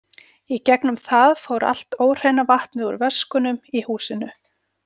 Í gegnum það fór allt óhreina vatnið úr vöskunum í húsinu.